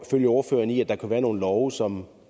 følge ordføreren i at der kan være nogle love som